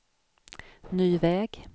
ny väg